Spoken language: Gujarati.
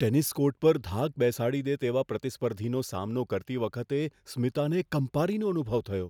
ટેનિસ કોર્ટ પર ધાક બેસાડી દે તેવા પ્રતિસ્પર્ધીનો સામનો કરતી વખતે સ્મિતાને કંપારીનો અનુભવ થયો.